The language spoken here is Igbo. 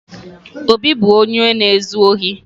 Obi bụ onye na-ezu ohi